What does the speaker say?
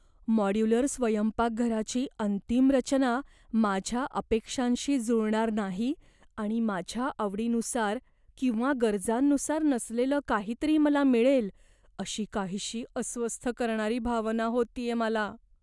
Modular स्वयंपाकघराची अंतिम रचना माझ्या अपेक्षांशी जुळणार नाही आणि माझ्या आवडीनुसार किंवा गरजांनुसार नसलेलं काहीतरी मला मिळेल, अशी काहीशी अस्वस्थ करणारी भावना होतेय मला.